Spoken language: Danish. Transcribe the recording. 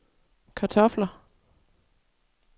kartofler